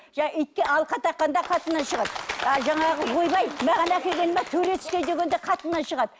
жаңағы итке алқа таққан да қатыннан шығады жаңағы ойбай маған әкелген турецкий деген де қатыннан шығады